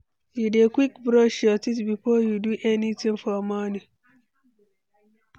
You dey quick brush your teeth before you do anything for morning?